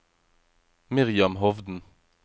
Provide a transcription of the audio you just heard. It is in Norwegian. Miriam Hovden